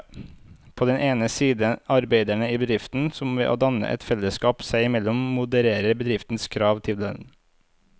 På den ene side arbeiderne i bedriften, som ved å danne et fellesskap seg imellom modererer bedriftens krav til dem.